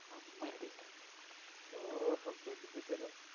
ഓഹോ കൊതിപ്പിച്ചല്ലോ